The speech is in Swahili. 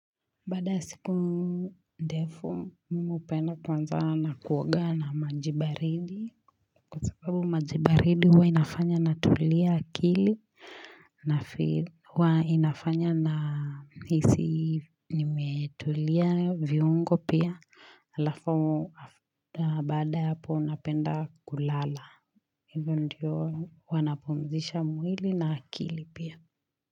Baada ya siku ndefu mimi hupenda kwanza kuoga na maji baridi. Kwa sababu maji baridi huwa inafanya natulia akili nafeel huwa inafanya nahisi nimetulia viungo pia alafu Baada ya hapo napenda kulala. Hivyo ndivyo wanapumzisha mwili na akili pia.